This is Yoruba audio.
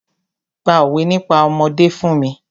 Pa òwé nípa ọmọdé fún mi!